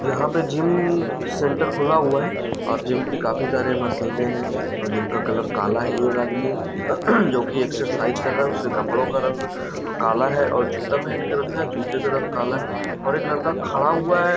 यहाँ पे gym centre खुला हुआ है और जिम की काफी सारी मशीनें हैं जिम का कलर काला है एक आदमी जो कि एक्सरर्साइज़ कर रहा है उसके कपड़ों का रंग काला है और जूता पहन के रखा है जूते का रंग काला है हरे कलर का खड़ा हुआ है।